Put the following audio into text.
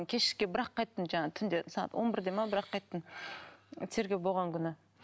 кешке бірақ қайттым жаңағы түнде сағат он бір де ме бірақ қайттым тергеу болған күні